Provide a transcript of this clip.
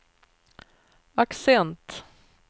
accent